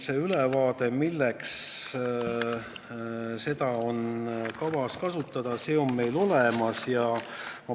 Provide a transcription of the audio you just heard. See ülevaade, milleks seda raha on kavas kasutada, on meil olemas.